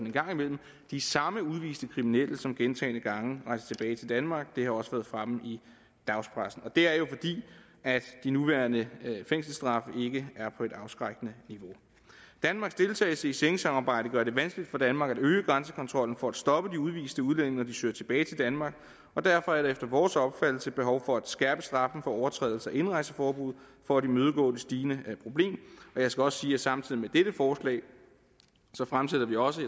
en gang imellem de samme udviste kriminelle som gentagne gange rejser tilbage til danmark det har også været fremme i dagspressen og det er jo fordi de nuværende fængselsstraffe ikke er på et afskrækkende niveau danmarks deltagelse i schengensamarbejdet gør det vanskeligt for danmark at øge grænsekontrollen for at stoppe de udviste udlændinge når de søger tilbage til danmark og derfor er der efter vores opfattelse behov for at skærpe straffen for overtrædelse af indrejseforbud for at imødegå det stigende problem jeg skal også sige at samtidig med dette forslag fremsætter vi også